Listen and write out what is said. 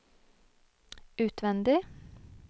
utvendig